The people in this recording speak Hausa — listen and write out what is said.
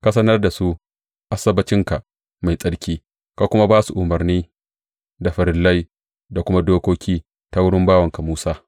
Ka sanar da su Asabbacinka mai tsarki, ka kuma ba su umarnai, da farillai, da kuma dokoki ta wurin bawanka Musa.